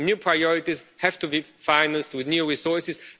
New priorities have to be financed with new resources.